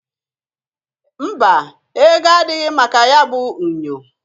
Mba! Ego adịghị maka nyabụ unyo.